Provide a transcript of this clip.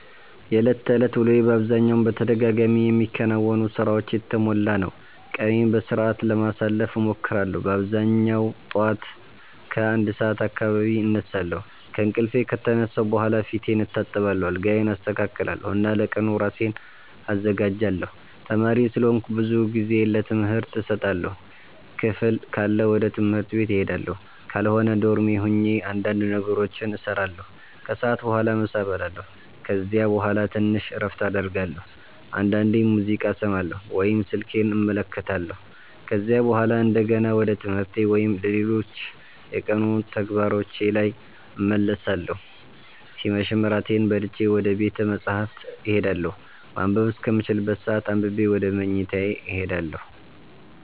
የዕለት ተዕለት ውሎዬ በአብዛኛው በተደጋጋሚ የሚከናወኑ ሥራዎች የተሞላ ነው። ቀኔን በሥርዓት ለማሳለፍ እሞክራለሁ በአብዛኛው ጠዋት ከ1 ሰዓት አካባቢ እነሳለሁ። ከእንቅልፌ ከተነሳሁ በኋላ ፊቴን እታጠባለሁ፣ አልጋዬን አስተካክላለሁ እና ለቀኑ ራሴን አዘጋጃለሁ። ተማሪ ስለሆንኩ ብዙ ጊዜዬን ለትምህርት እሰጣለሁ። ክፍል ካለ ወደ ትምህርት ቤት እሄዳለሁ፣ ካልሆነ ዶርሜ ሆኜ እንዳንድ ነገሮችን እሰራለሁ። ከሰዓት በኋላ ምሳ እበላለሁ ከዚያ በኋላ ትንሽ እረፍት አደርጋለሁ፣ አንዳንዴም ሙዚቃ እሰማለሁ ወይም ስልኬን እመለከታለሁ። ከዚያ በኋላ እንደገና ወደ ትምህርቴ ወይም ሌሎች የቀኑ ተግባሮቼ ላይ እመለሳለሁ ሲመሽም እራቴን በልቼ ወደ ቤተ መፃህፍት እሄዳለሁ ማንበብ እስከምችልበት ሰአት አንብቤ ወደ መኝታዬ እሄዳለሁ።